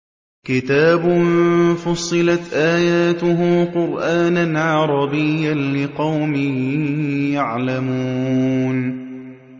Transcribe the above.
كِتَابٌ فُصِّلَتْ آيَاتُهُ قُرْآنًا عَرَبِيًّا لِّقَوْمٍ يَعْلَمُونَ